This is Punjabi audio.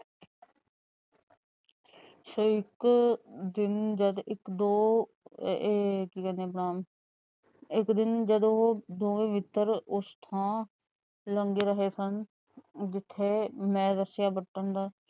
ਇੱਕ ਦਿਨ ਜਦ ਇੱਕ ਦੋ ਇਹ ਕੀ ਕਹਿੰਦੇ ਆਪਣਾ ਇੱਕ ਦਿਨ ਜਦੋ ਦੋਵੇ ਮਿੱਤਰ ਉਸ ਥਾਂ ਲੰਗ ਰਹੇ ਸਨ। ਜਿੱਥੇ ਮੈ ਰੱਸਿਆਂ ਬੱਟਣ ਦਾ